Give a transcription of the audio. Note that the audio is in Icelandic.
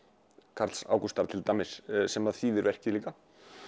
Karls Ágústs til dæmis sem þýðir verkið líka